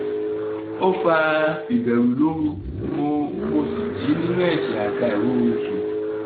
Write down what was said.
ó fa ìbẹ̀rù lóru mo mo sì jí nínú ẹ̀ṣẹ̀ àti àìróorunsun